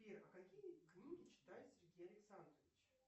сбер а какие книги читает сергей александрович